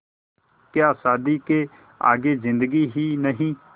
क्या शादी के आगे ज़िन्दगी ही नहीं